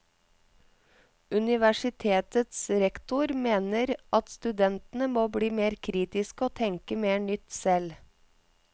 Universitetets rektor mener at studentene må bli mer kritiske og tenke mer nytt selv.